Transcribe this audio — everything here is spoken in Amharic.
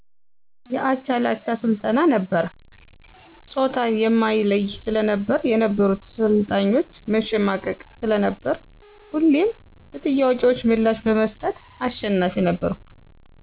የአቻላቻ ስልጠና ነበር ጾታን የማይለይ ስለነበር የነበሩት ሰልጣኞች መሸማቀቅ ስለነበር ሁሌም ለጥያቄዎች ምላሽ በመስጠት አሸናፊ ነበርኩ።